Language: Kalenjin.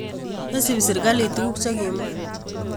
Mesupi sirikalit tukuk che kimwa